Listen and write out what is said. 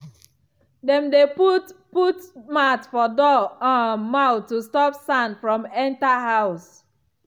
dem dey put put mat for door um mouth to stop sand from enter house.